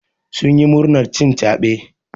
Sun yi murnar cin caɓe.